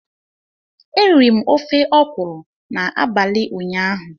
Eriri m ofe okwụrụ n'abalị ụnyaahụ.